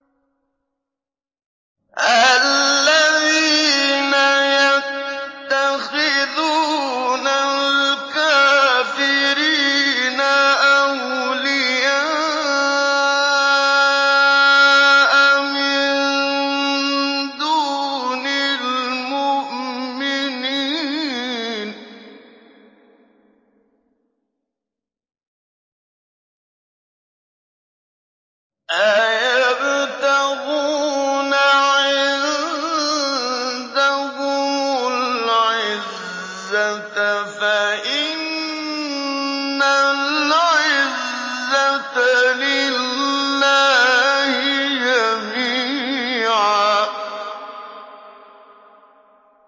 الَّذِينَ يَتَّخِذُونَ الْكَافِرِينَ أَوْلِيَاءَ مِن دُونِ الْمُؤْمِنِينَ ۚ أَيَبْتَغُونَ عِندَهُمُ الْعِزَّةَ فَإِنَّ الْعِزَّةَ لِلَّهِ جَمِيعًا